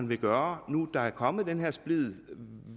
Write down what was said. vil gøre når der er kommet den her splid og